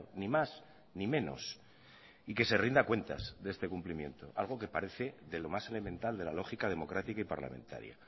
ni más ni menos y que se rinda cuentas de este cumplimiento algo que parece de lo más elemental de la lógica democrática y parlamentaria